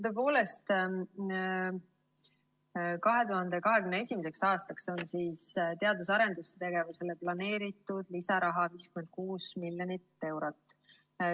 Tõepoolest, 2021. aastaks on teadus‑ ja arendustegevusele planeeritud lisaraha 56 miljonit eurot.